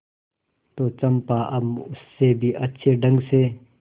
तो चंपा अब उससे भी अच्छे ढंग से